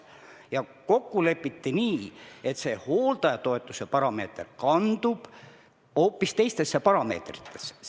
Ja kokku lepiti nii, et hooldajatoetuse parameeter kandub teistesse parameetritesse.